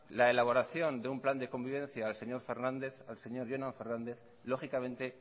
la elaboración de un plan de convivencia al señor jorge fernández lógicamente